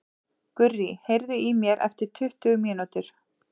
Gurrý, heyrðu í mér eftir tuttugu mínútur.